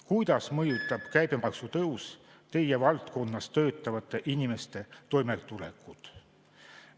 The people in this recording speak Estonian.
Kuidas mõjutab käibemaksu tõus teie valdkonnas töötavate inimeste toimetulekut?